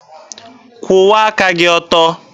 Kwụwa aka gị ọtọ!